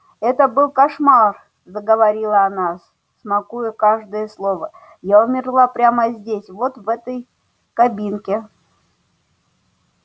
это был кошмар заговорила она смакуя каждое слово я умерла прямо здесь вот в этой кабинке